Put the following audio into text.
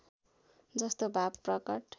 जस्तो भाव प्रकट